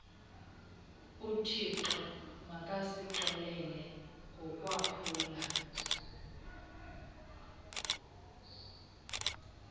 uthixo makasixolele ngokwaphula